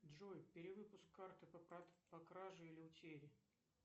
джой перевыпуск карты по краже или утере